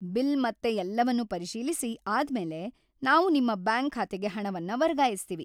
Bill ಮತ್ತೆ ಎಲ್ಲವನ್ನೂ ಪರಿಶೀಲಿಸಿ ಆದ್ಮೇಲೆ ನಾವು ನಿಮ್ಮ ಬ್ಯಾಂಕ್ ಖಾತೆಗೆ ಹಣವನ್ನ ವರ್ಗಾಯಿಸ್ತೀವಿ.